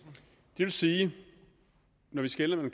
det vil sige at vi skelner